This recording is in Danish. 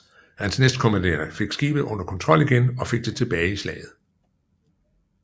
Hans næstkommanderende fik skibet under kontrol igen og fik det tilbage i slaget